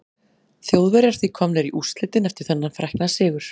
Þjóðverjar því komnir í úrslitin eftir þennan frækna sigur.